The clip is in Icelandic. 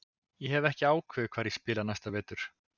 Ég hef ekki ákveðið hvar ég spila næsta vetur.